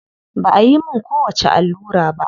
Ba ayi mun kowacce allura ba.